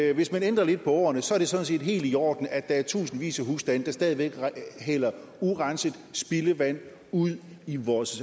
at hvis man ændrer lidt på ordene så er det sådan set helt i orden at der er tusindvis af husstande der stadig væk hælder urenset spildevand ud i vores